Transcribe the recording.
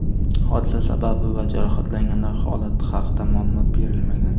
Hodisa sababi va jarohatlanganlar holati haqida ma’lumot berilmagan.